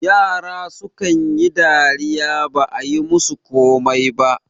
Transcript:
yara sukan yi dariya ba a yi musu komai ba